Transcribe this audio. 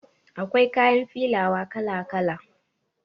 Akwai kayan filawa kala kala